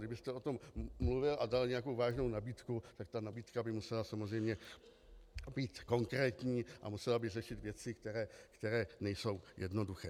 Kdybyste o tom mluvil a dal nějakou vážnou nabídku, tak ta nabídka by musela samozřejmě být konkrétní a musela by řešit věci, které nejsou jednoduché.